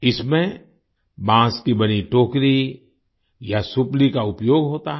इसमें बांस की बनी टोकरी या सुपली का उपयोग होता है